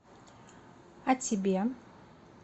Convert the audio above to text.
а тебе